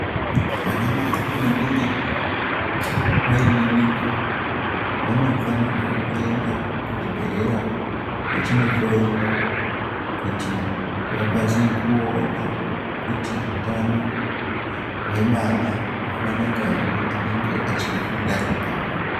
Vana Mai vanenge vaine mimba vanofanirwa kuenda kuzvibhehlera vachindohloiwa kuti vakwanise kuti utano hwemwwana hwakanaka here anenge achiri mundani mavo.